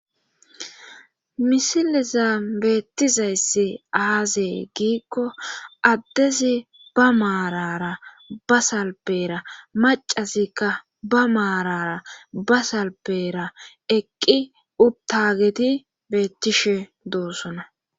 misileza beettizayssi aazee giikko addezi ba maarara ba salpera macazikka ba maarara basalpera eqqi ubtageti beettishe doossona